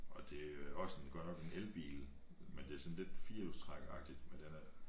Og det også en godt nok en elbil men det sådan lidt firhjulstrækkeragtigt men den er